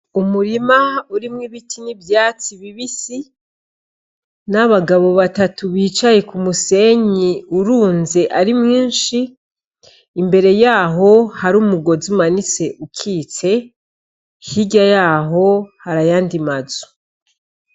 Umurima urimwo ibiti n'ivyatsi bibe isi n'abagabo batatu bicaye ku musenyi urunze ari mwinshi imbere yaho hari umugozi umanise ukitse hirya yaho harayandimazu.